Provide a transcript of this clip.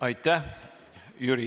Aitäh!